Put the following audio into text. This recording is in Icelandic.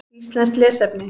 Íslenskt lesefni: